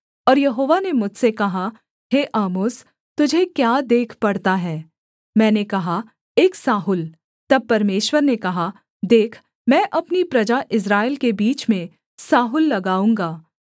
और यहोवा ने मुझसे कहा हे आमोस तुझे क्या देख पड़ता है मैंने कहा एक साहुल तब परमेश्वर ने कहा देख मैं अपनी प्रजा इस्राएल के बीच में साहुल लगाऊँगा